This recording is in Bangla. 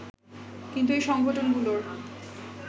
কিন্তু এই সংগঠনগুলোর